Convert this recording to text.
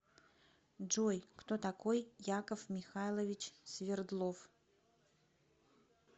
джой кто такой яков михайлович свердлов